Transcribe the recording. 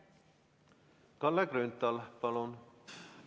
Kalle Grünthal, palun!